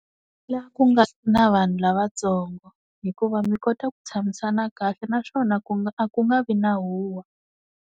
Laha ku nga na vanhu lavatsongo hikuva mi kota ku tshamisana kahle naswona ku nga a ku nga vi na huwa.